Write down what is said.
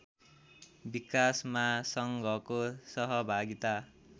विकासमा सङ्घको सहभागिता